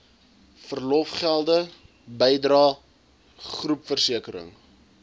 verlofgelde bydrae groepversekering